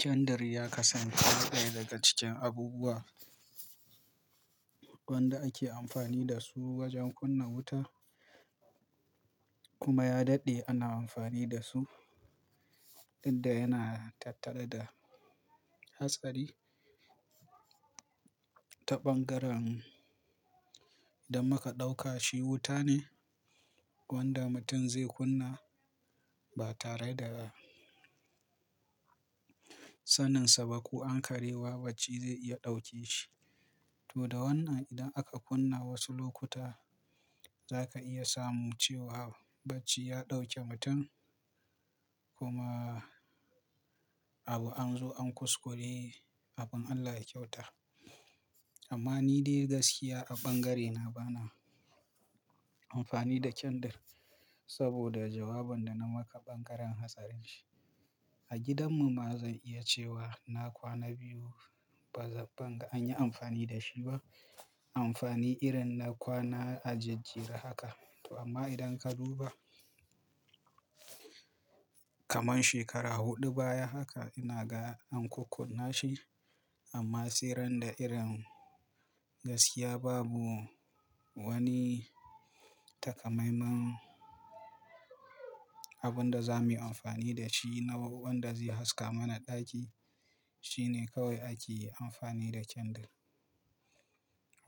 Candle ya kasance ɗaya daga cikin abubuwa wanda ake amfani dasu wajen kunna wuta kuma ya daɗe ana amfani dasu, didda yana tattare da hatsari ta ɓangaren da muka ɗaukashi wuta ne wanda mutum zai kunna ba tare da saninsa baku ankareba bacci zai iya ɗauke shi. Toda wannan idan aka kunna wasu lokuta, zaka iya samu cewa bacci ya ɗauke mutum kuma abu anzo an kuskure abin Allah ya kyauta. Amma nidai gaskiya a ɓangarena bana amfani da candle saboda jawabin dana maka ɓangaren hatsarinshi. A gidanmu ma zan iya cewa na kwana biyu banga anyi amfani da shiba, amfani irinna kwana a jejjera haka. To amma idanka duba, kaman shekara huɗu baya haka ina ga ankukkunnashi amma sairanda irin gaskiya babu wani takamaiman abun da zamuyi amfani dashi na wanda zai haska mana ɗaki, shine kawai akeyi amfani da candle.